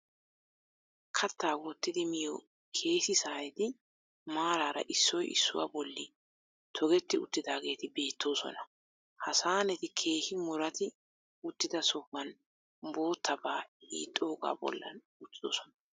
Kattaa wottidi miyo keesi saaneti maaraara issoy issuwa bolli togetti uttaageeti beettoosona. Ha saaneti keehi muratti uttida sohuwan boottabaa hiixxoogaa bollan uttidosona.